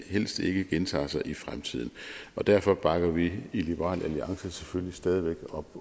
helst ikke gentager sig i fremtiden derfor bakker vi i liberal alliance selvfølgelig stadig væk op